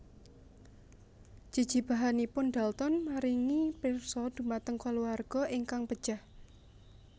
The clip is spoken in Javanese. Jejibahanipun Dalton maringi pirsa dhumateng kulawarga ingkang pejah